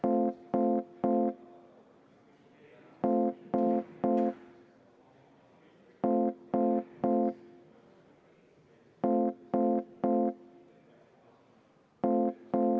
Eelnõu on menetlusest väljas, tagasi lükatud.